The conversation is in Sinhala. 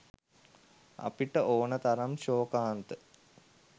අපට ඕනෙ තරම් ශෝකාන්ත